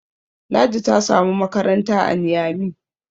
Ladi ta samu makaranta a Niyami